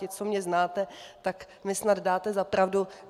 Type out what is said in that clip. Vy, co mě znáte, tak mi snad dáte za pravdu.